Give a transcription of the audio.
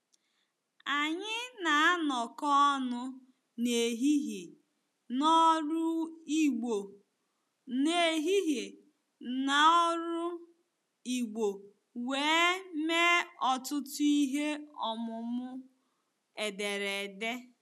Anyị na-anọkọ ọnụ n'ehihie n'ọrụ Igbo n'ehihie n'ọrụ Igbo wee mee ọtụtụ ihe ọmụmụ ederede.